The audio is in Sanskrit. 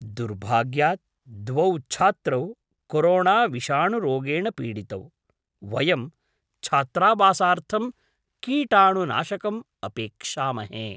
दुर्भाग्यात् द्वौ छात्रौ कोरोणाविषाणुरोगेण पीडितौ, वयं छात्रावासार्थं कीटाणुनाशकम् अपेक्षामहे।